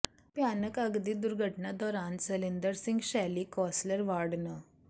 ਭਿਆਨਕ ਅੱਗ ਦੀ ਦੁਰਘਟਨਾ ਦੌਰਾਨ ਸੈਲਿੰਦਰ ਸਿੰਘ ਸ਼ੈਲੀ ਕੌਸਲਰ ਵਾਰਡ ਨੰ